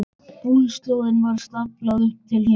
Búslóðinni var staflað upp til himins.